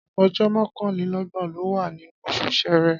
Ọjọ́ mọ́kànlélọ́gbọ̀n ló wà nínú oṣù Ṣẹẹrẹ.